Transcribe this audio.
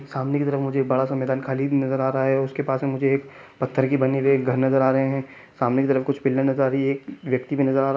सामने की तरफ मुझे एक बड़ा -सा मैदान खाली नजर आ रहा है उसके पास में मुझे एक पत्थर की बनी हुए एक घर नजर आ रहे है सामने की तरफ पिलर नजर आ रही है एक व्यक्ति भी नजर आ रहा --